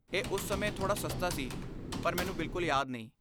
ਇਹ ਉਸ ਸਮੇਂ ਥੋੜਾ ਸਸਤਾ ਸੀ, ਪਰ ਮੈਨੂੰ ਬਿਲਕੁਲ ਯਾਦ ਨਹੀਂ।